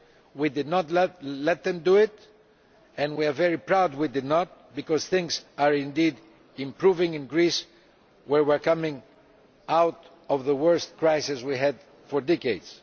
We did not let them do that, and we are very proud that we did not, because things are indeed improving in Greece, where we are coming out of the worst crisis we have had for decades.